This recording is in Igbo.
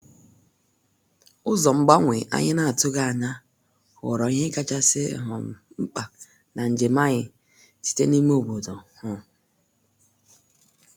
Ụzọ mgbanwe anyị na-atụghị anya ghọrọ ihe kachasị um mkpa na njem anyị site n'ime obodo. um